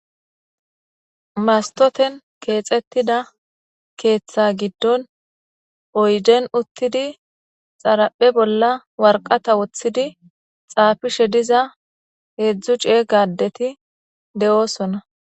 mastoten keexettida keeththa giddon oyden uttidi xaraphe bolla warqata woththidi xaafishe diza heedzdzu cee gadeti de7oosona